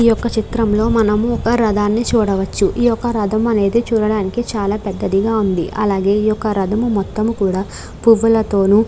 ఈ యొక్క చిత్రం లో మనము ఒక రధాన్ని చూడవచ్చు ఈ యొక్క రధం అనేది చూడడానికి చాలా పెద్దదిగా ఉంది అలాగే ఈ యొక్క రధం మొత్తము కూడా పువ్వుల తోను --